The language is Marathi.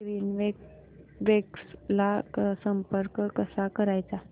ग्रीनवेव्स ला संपर्क कसा करायचा